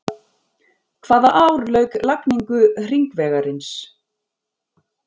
Hvaða ár lauk lagningu hringvegarins?